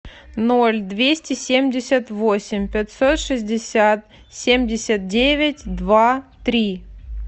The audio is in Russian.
ноль двести семьдесят восемь пятьсот шестьдесят семьдесят девять два три